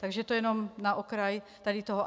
Takže to jenom na okraj tady toho.